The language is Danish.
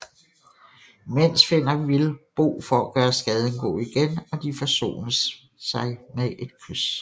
Imens finder Will Bo for at gøre skaden god igen og de forsones sig med et kys